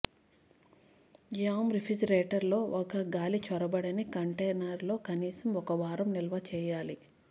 jam refrigerator లో ఒక గాలి చొరబడని కంటైనర్ లో కనీసం ఒక వారం నిల్వ చేయాలి